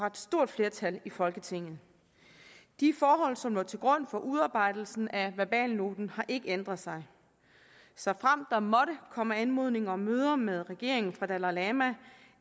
et stort flertal i folketinget de forhold som lå til grund for udarbejdelsen af verbalnoten har ikke ændret sig såfremt der måtte komme anmodninger om møder med regeringen fra dalai lama